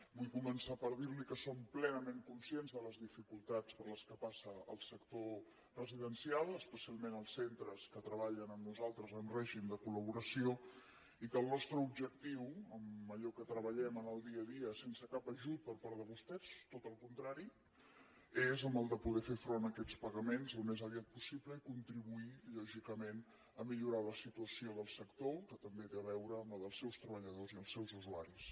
vull començar per dir li que som plenament conscients de les dificultats per què passa el sector residencial especialment els centres que treballen amb nosaltres en règim de col·laboració i que el nostre objectiu allò en què treballem en el dia a dia sense cap ajut per part de vostès tot al contrari és el de poder fer front a aquests pagaments al més aviat possible i contribuir lògicament a millorar la situació del sector que també té a veure amb la dels seus treballadors i els seus usuaris